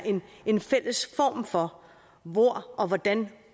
en fælles form for hvor og hvordan